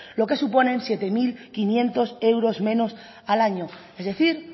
lo que suponen siete mil quinientos euros menos al año es decir